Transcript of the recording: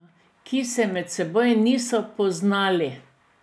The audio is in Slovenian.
Ki se med seboj niso poznali.